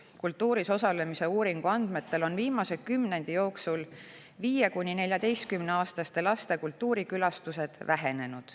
Kultuuris osalemise uuringu andmetel on viimase kümnendi jooksul 5–14‑aastaste laste kultuurikülastused vähenenud.